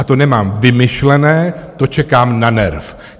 A to nemám vymyšlené, to čekám na NERV.